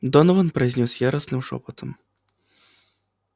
донован произнёс яростным шёпотом